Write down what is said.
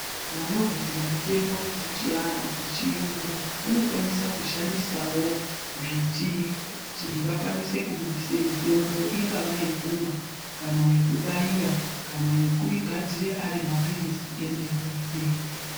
Vanogadzire mitembo dzechia dzechiyungu vanokwanisa kushandisawo mbiti kuti vakwanise kubudise mitombo ingava yekumwa kana yekubaira kana yekugadzira Ari maphirizi emene mene.